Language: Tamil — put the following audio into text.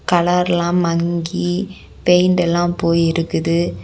கலர் எல்லாம் மங்கி பெயிண்ட் எல்லாம் போய் இருக்குது.